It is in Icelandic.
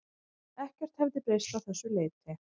Ekkert hefði breyst að þessu leyti